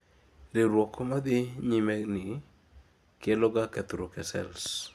riwruok madhii nyimeni keloga kethruok e cells